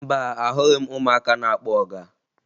Mba, ahụghị m ụmụaka na-akpọ ọga